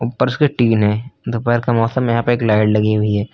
ऊपर उसके टीन है दोपहर का मौसम है यहां पे एक लाइड लगी हुई है।